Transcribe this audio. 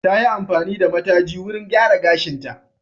Ta yi amfani da mataji wurin gyara gashinta.